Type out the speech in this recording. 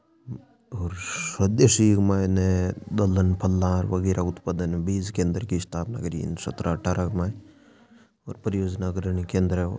और स्वदेशी के मायने दलन फला वगेरा उत्पादन बीज के अंदर की स्थापना करी सत्रह अठारह के माई और परियोजना अग्रणी केंद्र है ओ।